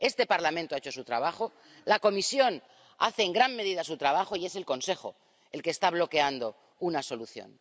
Este Parlamento ha hecho su trabajo, la Comisión hace, en gran medida, su trabajo, y es el Consejo el que está bloqueando una solución.